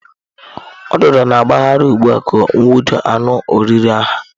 Ududo na-agbagharị ụgbụ ka ọ nwụde anụ oriri ha.